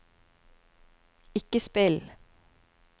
ikke spill